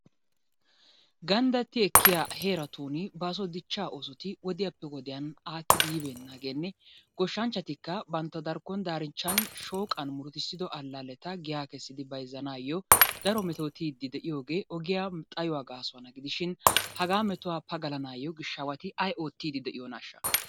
Gandatti ekiyaa heratun baso ossotti wodiyappe wodiyan akiddi yi benagenne goshanchatika batntta darikon darichan, shoqani murutisido alaletta guys kesiddi bayzanayo daro metotiddi de'iyoge, ogiyaa xayuwa gasuwana gidishin haga metuwa pagalanayo gishawati ay ottidi de'iyonashaa.